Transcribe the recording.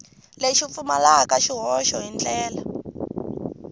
lexi pfumalaka swihoxo hi ndlela